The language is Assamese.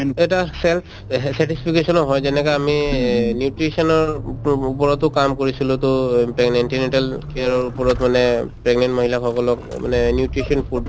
এটা self satisfaction ও হয় যেনেকে আমি nutrition উপ ওপৰতো কাম কৰিছিলো টো antenatal care ৰ ওপৰত মানে pregnant মহিলা সকলক মানে nutrition food